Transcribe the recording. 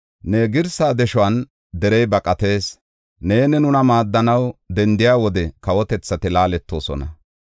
Ne girsaa deshuwan derey baqatees; neeni nuna maaddanaw dendiya wode kawotethati laaletoosona.